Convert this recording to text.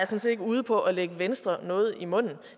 set ikke er ude på at lægge venstre noget i munden